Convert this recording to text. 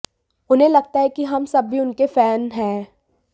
उन्हें लगता है कि हम सब भी उनके फैन हैं